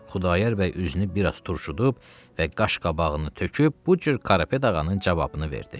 Xudayar bəy üzünü biraz turşudub və qaş-qabağını töküb bu cür Karapet ağanın cavabını verdi.